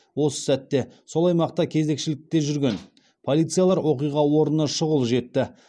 осы сәтте сол аймақта кезекшілікте жүрген полицейлер оқиға орнына шұғыл жетті